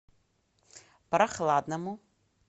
прохладному